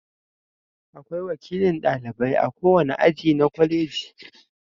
Akwai wakilin ɗalibai a kowane aji na kwaleji.